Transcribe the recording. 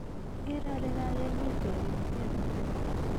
akeree ale kakenyitwa kimitet ne lel